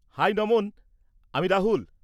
High Naman! আমি রাহুল।